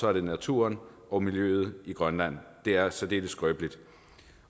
er det naturen og miljøet i grønland det er særdeles skrøbeligt